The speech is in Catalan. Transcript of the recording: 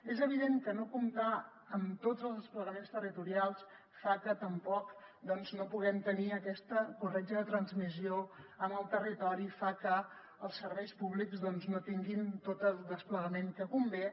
és evident que no comptar amb tots els desplegaments territorials fa que tampoc no puguem tenir aquesta corretja de transmissió amb el territori fa que els serveis públics no tinguin tot el desplegament que convé